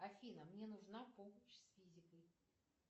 афина мне нужна помощь с физикой